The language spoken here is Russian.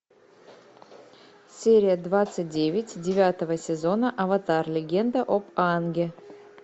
серия двадцать девять девятого сезона аватар легенда об аанге